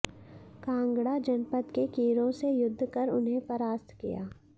कांगड़ा जनपद के कीरों से युद्ध कर उन्हें परास्त किया